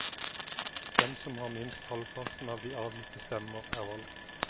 Den som har minst halvparten av de avgitte stemmer, er valgt.